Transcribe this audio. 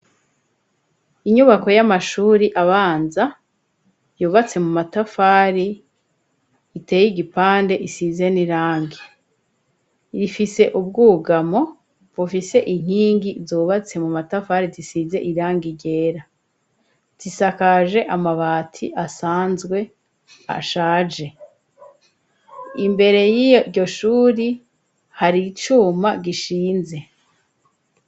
Inyubako y'amashure abanza, yubatse mu matafari, iteye igipande, gisize n'irangi, ifise ubwugamo inkingi zubatse mu matafari, zisize irangi ryera, zisakaje amabati asanzwe ashaje, imbere y'iryo shure hari icuma gishinze.